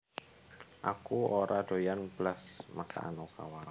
Aku ora doyan blas masakan Okawa